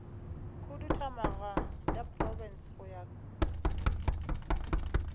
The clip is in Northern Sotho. khuduthamaga ya profense go ya